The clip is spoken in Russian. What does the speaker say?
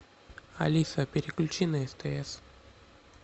алиса переключи на стс